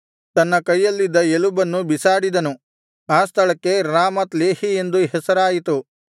ತನ್ನ ಕೈಯಲ್ಲಿದ್ದ ಎಲುಬನ್ನು ಬೀಸಾಡಿದನು ಆ ಸ್ಥಳಕ್ಕೆ ರಾಮತ್ ಲೆಹೀ ಎಂದು ಹೆಸರಾಯಿತು